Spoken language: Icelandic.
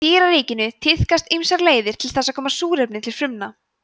í dýraríkinu tíðkast ýmsar leiðir til þess að koma súrefni til frumna